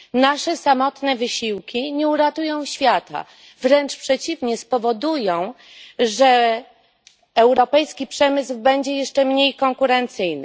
Nasze samotne wysiłki nie uratują świata, wręcz przeciwnie, spowodują, że europejski przemysł będzie jeszcze mniej konkurencyjny.